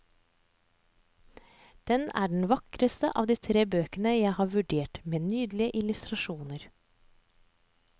Den er den vakreste av de tre bøkene jeg har vurdert, med nydelige illustrasjoner.